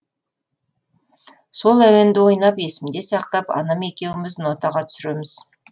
сол әуенді ойнап есімде сақтап анам екеуіміз нотаға түсіреміз